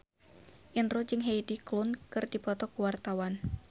Indro jeung Heidi Klum keur dipoto ku wartawan